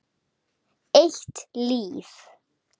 Eitt líf.